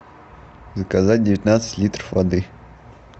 заказать девятнадцать литров воды